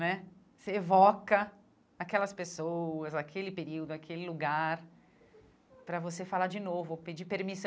Né Você evoca aquelas pessoas, aquele período, aquele lugar, para você falar de novo ou pedir permissão.